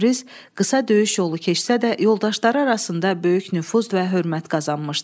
Təbriz qısa döyüş yolu keçsə də yoldaşları arasında böyük nüfuz və hörmət qazanmışdı.